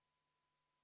Siis läheme edasi.